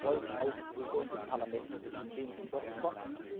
Wir freuen uns auf die Position des Parlaments, die in wenigen Wochen